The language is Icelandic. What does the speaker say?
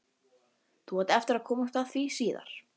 Þú átt eftir að komast að því síðar.